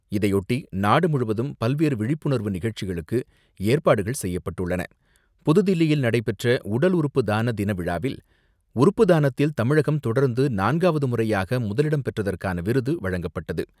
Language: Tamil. இதையொட்டி நாடு முழுவதும் பல்வேறு விழிப்புணர்வு நிகழ்ச்சிகளுக்கு ஏற்பாடுகள் புதுதில்லியில் நடைபெற்ற உடல் உறுப்பு தான தின விழாவில், உறுப்பு தானத்தில் தமிழகம் தொடர்ந்து நான்காவது முறையாக முதலிடம் பெற்றதற்கான விருது வழங்கப்பட்டது.